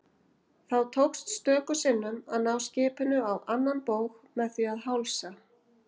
Þá tókst stöku sinnum að ná skipinu á annan bóg með því að hálsa.